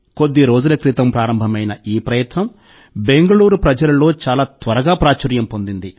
కొద్ది రోజుల క్రితం ప్రారంభమైన ఈ ప్రయత్నం బెంగుళూరు ప్రజలలో చాలా త్వరగా ప్రాచుర్యం పొందింది